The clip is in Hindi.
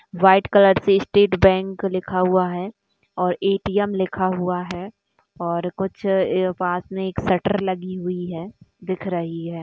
वाइट कलर से स्टेट बैंक लिखा हुआ है और ए.टी.एम. लिखा हुआ है और कुछ अ पास में एक शटर लगी हुई है दिख रही है।